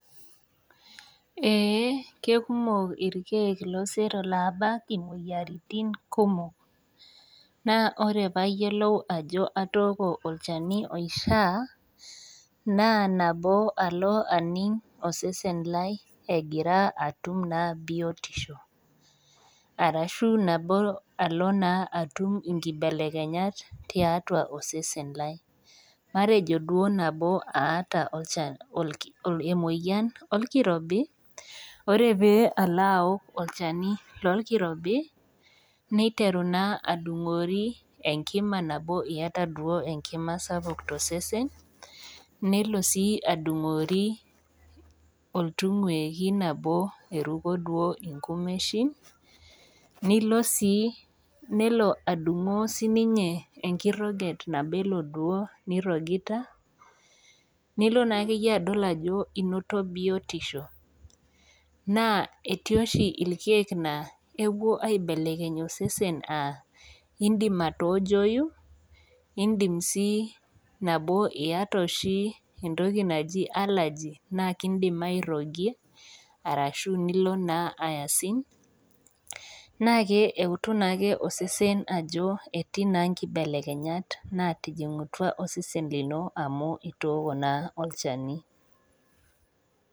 Eeh kekumok irkiek loosero laabak imoyiaritin kumok. Naa wore pee ayielou ajo atooko olchani oishaa, naa nabo alo aning osesen lai ekira atum naa bietisho. Arashu nabo alo naa atum inkibelekenyat tiatua osesen lai. Matejo duo nabo aata emoyian olkirobi. Wore pee alo aok olchani lolkirobi, neiteru naa adungori enkima nabo iyata duo enkima sapuk tosesen. Nelo sii adungori, nelo sii adungori oltungueki nabo eruko duo inkumeshin, nelo adungo sininye enkiroget nabo ilo goo nirrogita, nilo naa akeyie adol ajo inoto bietisho, naa etii oshi irkiek laa kepuo aibelekeny osesen aa iindim aatoojoi, iindim sii nabo iata oshi entoki naji allergy, naa kiidim airrogie, ashu nilo naa asing, naa keutu naake osesen ajo etii naa inkibelekenyat naatijingutua osesen lino amu itooko naa olchani.